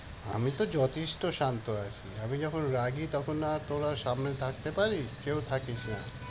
আমি তো যথেষ্ট শান্ত আছি। আমি যখন রাগি তখন না তোরা সামনে থাকতে পারিস? কেউ থাকিস না।